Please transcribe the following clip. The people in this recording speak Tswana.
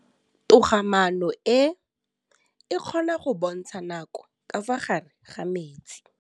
Toga-maanô e, e kgona go bontsha nakô ka fa gare ga metsi.